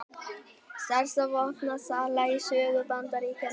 Stærsta vopnasala í sögu Bandaríkjanna